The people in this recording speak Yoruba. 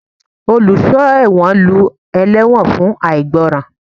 Oluso ẹwọ́n lú ẹlewọ́n fun aigbọran.